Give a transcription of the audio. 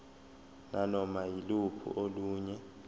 nanoma yiluphi olunye